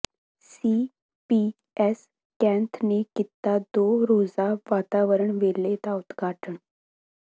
CPS Kainth ਨੇ ਕੀਤਾ ਦੋ ਰੋਜ਼ਾ ਵਾਤਾਵਰਣ ਮੇਲੇ ਦਾ ਉਦਘਾਟਨ